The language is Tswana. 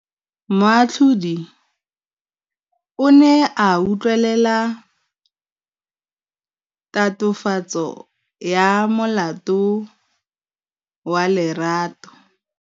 Moatlhodi o ne a utlwelela tatofatsô ya molato wa Lerato.